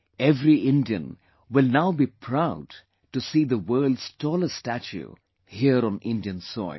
Every Indian will now be proud to see the world's tallest statue here on Indian soil